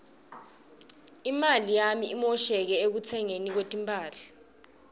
imali yami imoshakele ekutsengeni timphahla